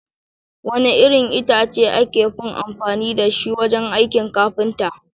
Wane irin itace aka fi amfani da shi wajen aikin kafinta?